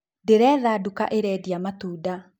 Ndĩretha duka ĩrendia matunda